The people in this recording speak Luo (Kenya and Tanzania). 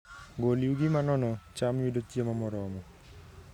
Gol yugi ma mono cham yudo chiemo moromo